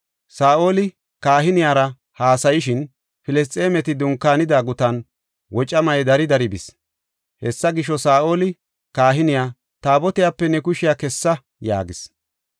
Saa7oli kahiniyara haasayishin, Filisxeemeti dunkaanida gutan wocamay dari dari bis. Hessa gisho, Saa7oli kahiniya, “Taabotiyape ne kushiya kessa” yaagis.